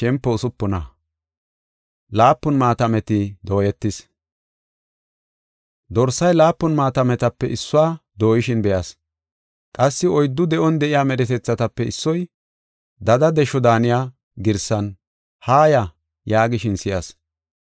Dorsay laapun maatametape issuwa dooyishin be7as. Qassi oyddu de7on de7iya medhetethatape issoy, dada desho daaniya girsan, “Haaya!” yaagishin si7as.